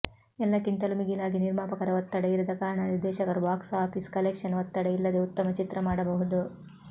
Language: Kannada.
ಎಲ್ಲಕ್ಕಿಂತಲೂ ಮಿಗಿಲಾಗಿ ನಿರ್ಮಾಪಕರ ಒತ್ತಡ ಇರದ ಕಾರಣ ನಿರ್ದೇಶಕರು ಬಾಕ್ಸ್ ಆಫೀಸ್ ಕಲೆಕ್ಷನ್ ಒತ್ತಡ ಇಲ್ಲದೆ ಉತ್ತಮ ಚಿತ್ರ ಮಾಡಬಹುದು